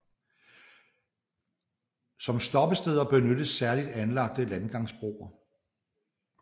Som stoppesteder benyttes særligt anlagte landgangsbroer